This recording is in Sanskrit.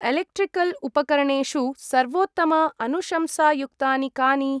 एलेक्ट्रिकल् उपकरणेषु सर्वोत्तम अनुशंसायुक्तानि कानि?